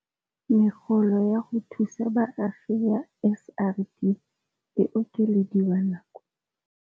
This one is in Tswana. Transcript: Megolo ya go thusa baagi ya SRD e okelediwa nako.